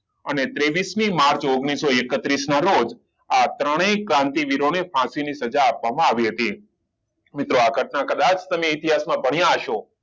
અને ત્રેવીસ મી માર્ચ ઓગણીસો એકત્રીસ ના રોજ આ ત્રણેય ક્રાંતિવીરો ને ફાંસી ની સજા આપવામાં આવી હતી મિત્રો આ ઘટના કદાચ તમે ઇતિહાસ માં ભણ્યા હસો